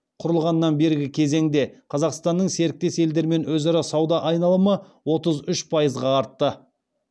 құрылғаннан бергі кезеңде қазақстанның серіктес елдермен өзара сауда айналымы отыз үш пайызға артты